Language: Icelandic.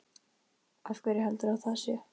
Af hverju heldurðu að það sé?